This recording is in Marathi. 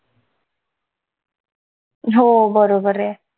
हो बरोबर ये